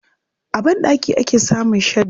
A banɗaki ake samun shadda.